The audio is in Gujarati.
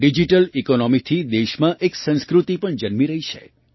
ડિજિટલ ઇકૉનૉમીથી દેશમાં એક સંસ્કૃતિ પણ જન્મી રહી છે